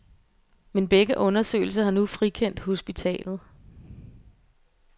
Men begge undersøgelser har nu frikendt hospitalet.